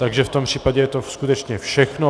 Takže v tom případě je to skutečně všechno.